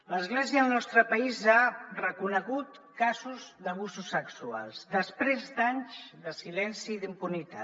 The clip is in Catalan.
l’església al nostre país ha reconegut casos d’abusos sexuals després d’anys de silenci i d’impunitat